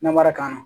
Namara kama